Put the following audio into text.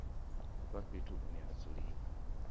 vha fhethu hune ha dzuliwa